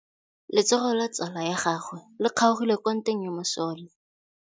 Letsôgô la tsala ya gagwe le kgaogile kwa ntweng ya masole.